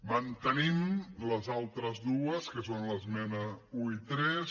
mantenim les altres dues que són les esmenes un i tres